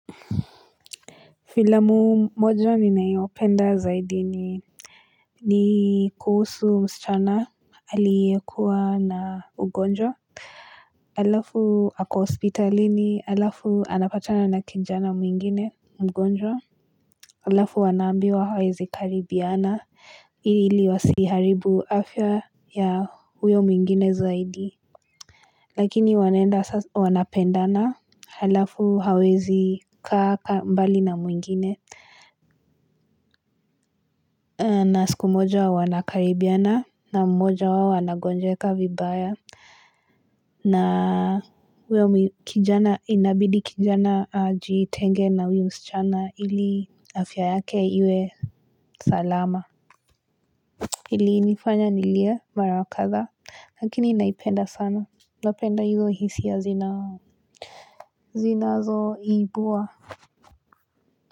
Filamu moja ni ninayopenda zaidi ni ni kuhusu msichana alikuwa na ugonjwa alafu ako hospitalini alafu anapatana na kinjana mwingine mgonjwa alafu wanaambiwa hawezi karibiana ili ili wasiharibu afya ya huyo mwingine zaidi Lakini wanenda wanapendana halafu hawezi kaa mbali na mwingine na siku moja wa wana karibiana na mmoja wao ana gonjeka vibaya. Na wewe kijana inabidi kijana aji itenge na huyo msichana ili afya yake iwe salama. Ili nifanya nilie mara kadhaa lakini naipenda sana. Napenda iwe hisia zinazoibua.